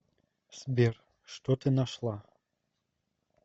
сбер что ты нашла